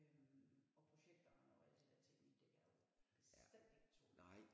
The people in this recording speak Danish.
Øh og projektoren og alt det der teknik det kan jo bestemt ikke tåle det